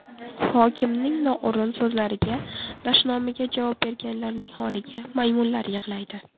Hokimning noo‘rin so‘zlariga, dashnomiga javob berganlarning holiga maymunlar yig‘laydi.